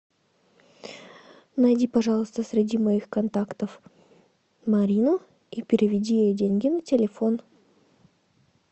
найди пожалуйста среди моих контактов марину и переведи ей деньги на телефон